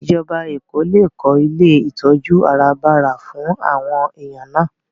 Ìjọba Èkó lè kó ilé ìtọ́jú àràbarà fún àwọn èèyàn náà